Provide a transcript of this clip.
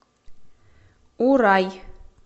урай